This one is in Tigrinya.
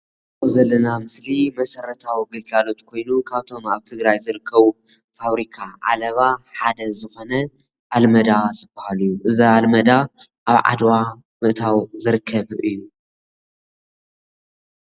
ዘለና ምስሊ መሰረታዊ ግልጋሎት ኮይኑ ካብቶም ኣብ ትግራይ ዝርከቡ ፋብሪካ ዓለባ ሓደ ዝኾነ ኣልመዳ ዝበሃል እዩ እዚ ኣልመዳ ኣብ ዓድዋ ምእታዉ ዝርከብ እዩ።